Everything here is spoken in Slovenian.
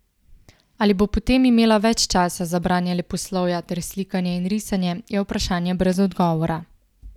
Ali bo potem imela več časa za branje leposlovja ter slikanje in risanje, je vprašanje brez odgovora.